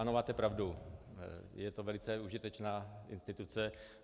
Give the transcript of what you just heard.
Ano, máte pravdu, je to velice užitečná instituce.